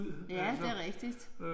Ja det rigtigt